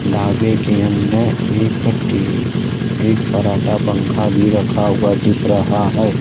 ढाबे के अंदर एक कट्टी एक फर्राटा पंखा भी रखा हुआ दिख रहा है।